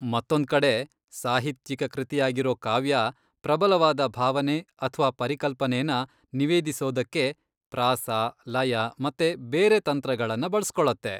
ಮತ್ತೊಂದ್ಕಡೆ, ಸಾಹಿತ್ಯಿಕ ಕೃತಿಯಾಗಿರೋ ಕಾವ್ಯ, ಪ್ರಬಲವಾದ ಭಾವನೆ ಅಥ್ವಾ ಪರಿಕಲ್ಪನೆನ ನಿವೇದಿಸೋದಕ್ಕೆ ಪ್ರಾಸ, ಲಯ ಮತ್ತೆ ಬೇರೆ ತಂತ್ರಗಳನ್ನ ಬಳಸ್ಕೊಳತ್ತೆ.